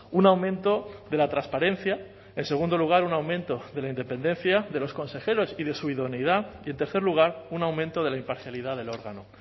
un aumento de la transparencia en segundo lugar un aumento de la independencia de los consejeros y de su idoneidad y en tercer lugar un aumento de la imparcialidad del órgano